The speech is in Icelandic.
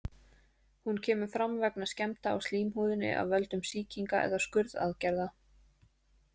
Hún kemur fram vegna skemmda á slímhúðinni af völdum sýkinga eða skurðaðgerða.